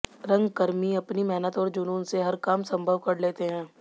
रंगकर्मी अपनी मेहनत और जुनून से हर काम सम्भव कर लेते हैं